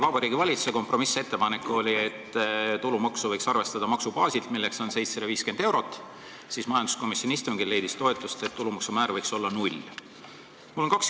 Vabariigi Valitsuse kompromissettepanek oli, et tulumaksu võiks arvestada maksubaasilt, milleks on 750 eurot, aga majanduskomisjoni istungil leidis toetust, et see tulumaksu määr võiks olla 0%.